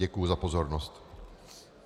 Děkuji za pozornost.